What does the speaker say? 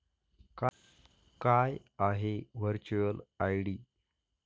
काय आहे virtual ID?